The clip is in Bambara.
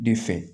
De fɛ